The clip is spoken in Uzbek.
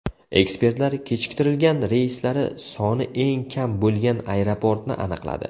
Ekspertlar kechiktirilgan reyslari soni eng kam bo‘lgan aeroportni aniqladi.